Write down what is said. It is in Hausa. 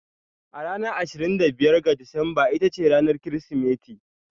A ranar ashirin da biyar ga Disamba ita ce ranar Kirsimeti.